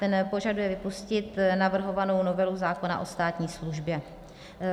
Ten požaduje vypustit navrhovanou novelu zákona o státní službě.